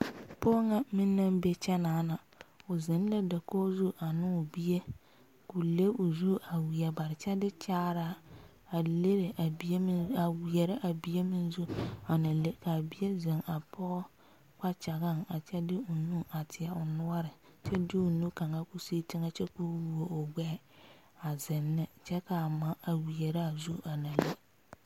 Pɔge ŋa meŋ naŋ be kyɛ naana o zeŋ la dakogi zu a ne o bie ko le o zu a wiɛ bare kyɛ de kyaare leri a bie meŋ a wiɛre a bie meŋ zu a na le kaa bie zeŋ a pɔge kpakyɛgaŋ a kyɛ de o nu a teɛ o noɔre kyɛ de o nu kaŋa ko sige teŋa kyɛ ko woɔ o gbeɛ a zeŋ ne kyɛ kaa ma a wiɛra zu a na le.